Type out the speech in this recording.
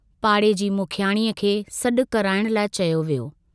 पाड़े जी मुखियाणीअ खे सड्डु कराइण लाइ चयो वियो।